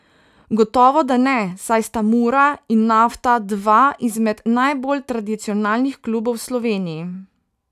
Gotovo da ne, saj sta Mura in Nafta dva izmed najbolj tradicionalnih klubov v Sloveniji.